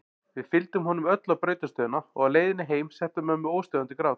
Við fylgdum honum öll á brautarstöðina og á leiðinni heim setti að mömmu óstöðvandi grát.